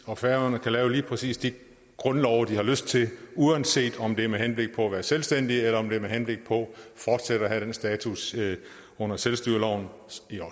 og færøerne kan lave lige præcis de grundlove de har lyst til uanset om det er med henblik på at være selvstændig eller om det er med henblik på fortsat at have den status under selvstyreloven